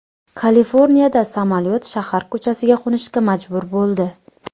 Kaliforniyada samolyot shahar ko‘chasiga qo‘nishga majbur bo‘ldi.